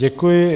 Děkuji.